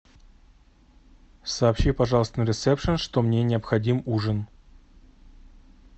сообщи пожалуйста на ресепшн что мне необходим ужин